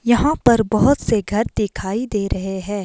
यहां पर बहुत से घर दिखाई दे रहे हैं।